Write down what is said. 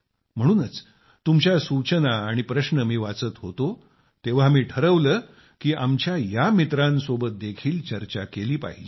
म्हणूनच जेव्हा मी तुमच्या सूचना आणि प्रश्न वाचत होतो तेव्हा मी ठरविले की आमच्या या मित्रांसोबत देखील चर्चा केली पाहिजे